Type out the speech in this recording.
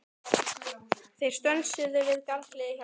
Þeir stönsuðu við garðshliðið hjá Erni.